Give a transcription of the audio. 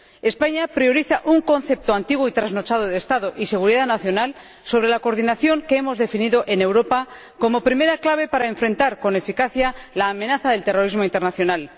España prioriza un concepto antiguo y trasnochado de Estado y seguridad nacional sobre la coordinación, que hemos definido en Europa como primera clave para enfrentar con eficacia la amenaza del terrorismo internacional.